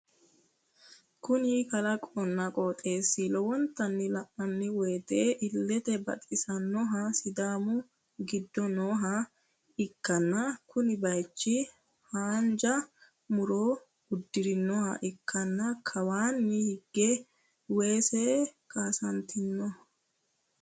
kuni kalaqqonna qoxeesi lowontanni la'nanni woyiite illete baxisannohu sidaami giddo nooha ikkanna kuni bayiichi haanja muro udiirinoha ikkanna kawaani higge weese kaasantinoho.